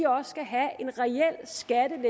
også skal have